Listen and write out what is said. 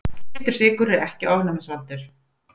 Hvítur sykur er ekki ofnæmisvaldur.